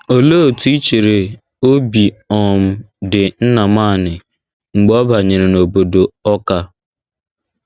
Olee otú i chere obi um dị Nnamani mgbe ọ banyere n’obodo Awka?